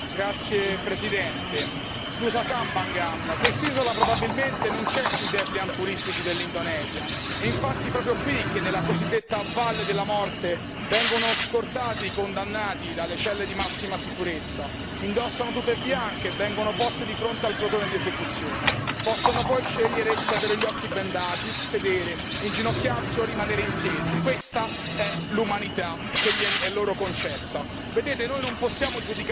Signor Presidente, onorevoli colleghi, Nusa Kambangan, quest'isola probabilmente non c'è sui dépliant turistici dell'Indonesia e infatti è proprio qui che, nella cosiddetta valle delle morte, vengono scortati i condannati dalle celle di massima sicurezza indossano tute bianche e vengono posti di fronte al plotone di esecuzione, possono poi scegliere se avere gli occhi bendati, sedere, inginocchiarsi o rimanere in piedi, questa è l'umanità che è loro concessa.